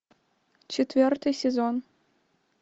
четвертый сезон